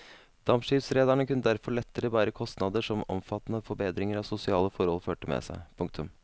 Dampskipsrederne kunne derfor lettere bære kostnader som omfattende forbedringer av sosiale forhold førte med seg. punktum